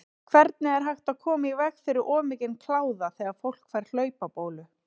Hvernig er hægt að koma í veg fyrir of mikinn kláða þegar fólk fær hlaupabólu?